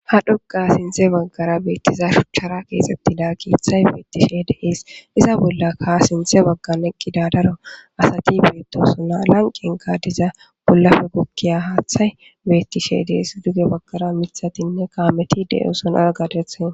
Ha dhuga sinte baggara beettiza shuchchara keexxettida kiiththay beettishe deis iza bolla kaa sinthe bagga neqqi dadaro asati beettosu na lanqen gaadiza pollafe gukkiya haaththay beettishe deis duge baggara mithatinne kaameti de'oson aagadethe.